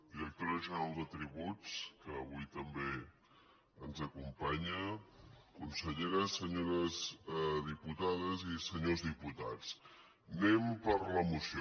directora general de tributs que avui també ens acompanya conselle·ra senyores diputades i senyors diputats anem per la moció